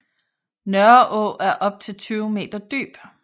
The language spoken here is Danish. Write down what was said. Nørreå er op til 20 meter dyb